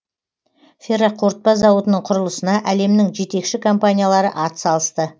ферроқорытпа зауытының құрылысына әлемнің жетекші компаниялары ат салысты